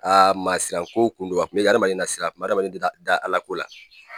Aa maa siran ko kun don a kun mɛ adamaden nasira a kun mɛ adamaden da Ala ko la